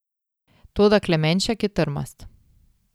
Toda Klemenšek je trmast.